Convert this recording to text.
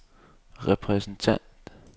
repræsentant